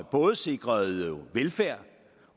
både sikrede velfærd